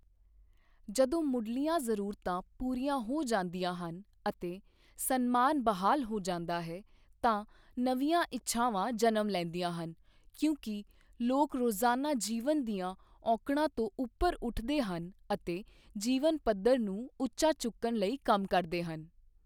ਜਦੋਂ ਮੁਢਲੀਆਂ ਜ਼ਰੂਰਤਾਂ ਪੂਰੀਆਂ ਹੋ ਜਾਂਦੀਆਂ ਹਨ ਅਤੇ ਸਨਮਾਨ ਬਹਾਲ ਹੋ ਜਾਂਦਾ ਹੈ, ਤਾਂ ਨਵੀਆਂ ਇੱਛਾਵਾਂ ਜਨਮ ਲੈਂਦੀਆਂ ਹਨ ਕਿਉਂਕਿ ਲੋਕ ਰੋਜ਼ਾਨਾ ਜੀਵਨ ਦੀਆਂ ਔਕੜਾਂ ਤੋਂ ਉੱਪਰ ਉੱਠਦੇ ਹਨ ਅਤੇ ਜੀਵਨ ਪੱਧਰ ਨੂੰ ਉੱਚਾ ਚੁੱਕਣ ਲਈ ਕੰਮ ਕਰਦੇ ਹਨ